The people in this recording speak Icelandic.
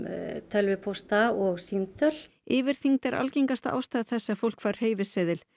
tölvupósta og símtöl yfirþyngd er algengasta ástæða þess að fólk fær hreyfiseðil